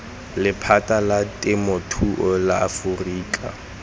lephata la temothuo la aforika